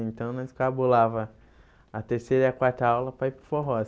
Então, nós cabulava a terceira e a quarta aula para ir para o forró.